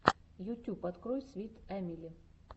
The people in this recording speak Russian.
ютюб открой свит эмили